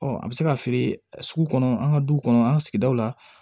Ɔ a bɛ se ka feere sugu kɔnɔ an ka du kɔnɔ an ka sigidaw la